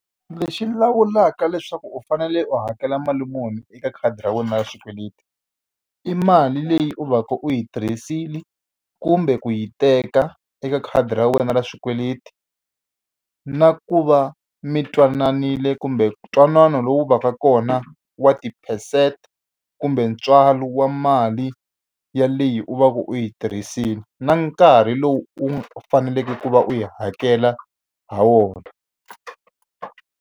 Lexi lawulaka leswaku u fanele u hakela mali muni eka khadi ra wena ra xikweleti, i mali leyi u va ka u yi tirhisile kumbe ku yi teka eka khadi ra wena ra xikweleti, na ku va mi twananile kumbe ntwanano lowu va ka kona wa ti-percent kumbe ntswalo wa mali ya leyi u va u yi tirhisile, na nkarhi lowu u faneleke ku va u yi hakela ha wona.